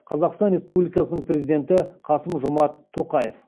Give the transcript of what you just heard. қазақстан республикасының президенті қасым жомарт тоқаев